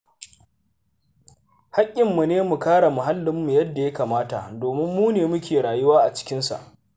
Hakkinmu ne mu kare muhallinmu yadda ya kamata, domin mu ne muke rayuwa a cikinsa.